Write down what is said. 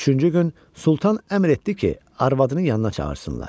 Üçüncü gün Sultan əmr etdi ki, arvadının yanına çağırsınlar.